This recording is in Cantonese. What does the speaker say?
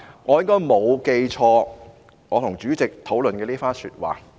我應該沒有記錯我與主席討論的一番說話。